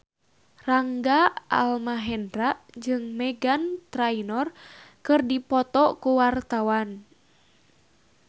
Rangga Almahendra jeung Meghan Trainor keur dipoto ku wartawan